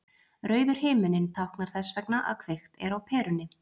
Rauður himinninn táknar þess vegna að kveikt er á perunni.